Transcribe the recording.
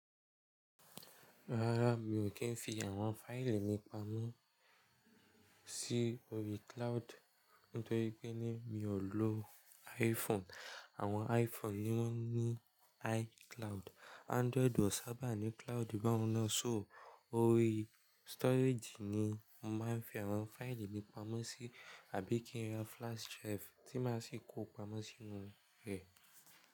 Rárá mi ò kí ń fi àwọn fáìlì mi pamọ́ sí ori cloud nítorí pé ní mi ò lo iPhone. Àwọn iPhone ni wọn ní iCloud. Android ò sábà ní cloud báhun náà, so ori storage ni mo máa ń fi àwọn fáìlì mi pamọ́ sí àbí kí n ra flash drive tí máa sì kó pamọ́ sínú rẹ̀